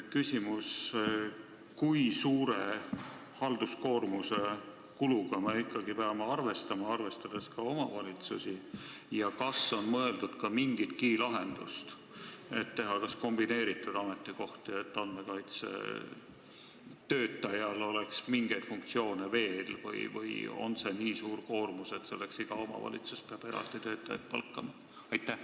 Kui suure halduskoormusega me ikkagi peame arvestama, arvestades ka omavalitsusi, ja kas on mõeldud mingisuguselegi lahendusele, näiteks, et teha kombineeritud ametikohti, et andmekaitsetöötajal oleks mingeid funktsioone veel, või on see koormus nii suur, et iga omavalitsus peab eraldi töötajaid palkama?